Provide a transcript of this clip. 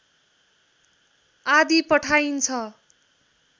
आदि पठाइन्छ